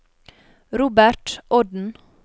Robert Odden